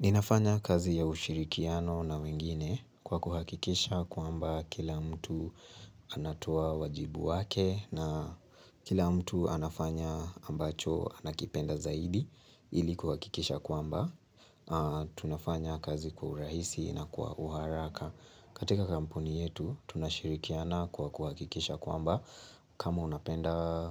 Ninafanya kazi ya ushirikiano wengine kwa kuhakikisha kwamba kila mtu anatoa wajibu wake na kila mtu anafanya ambacho anakipenda zaidi ili kuhakikisha kwamba. Tunafanya kazi kwa urahisi na kwa uharaka. Katika kampuni yetu tunashirikiana kwa kuhakikisha kwamba. Kama unapenda